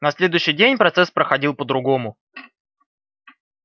на следующий день процесс проходил по-другому